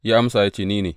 Ya amsa, Ni ne.